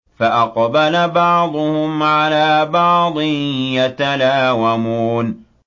فَأَقْبَلَ بَعْضُهُمْ عَلَىٰ بَعْضٍ يَتَلَاوَمُونَ